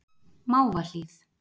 Mávahlíð